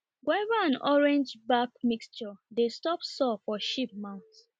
guava and orange back mixture dey stop sore for sheep mouth